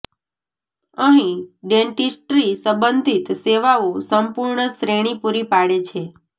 અહીં ડેન્ટીસ્ટ્રી સંબંધિત સેવાઓ સંપૂર્ણ શ્રેણી પૂરી પાડે છે